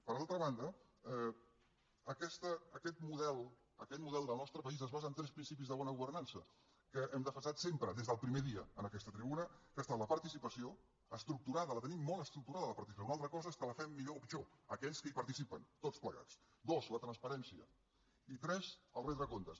per altra banda aquest model del nostre país es basa en tres principis de bona governança que hem defensat sempre des del primer dia en aquesta tribuna que són la participació estructurada la tenim molt estructurada la participació una altra cosa és que la fem millor o pitjor aquells que hi participen tots plegats dos la transparència i tres el fet de retre comptes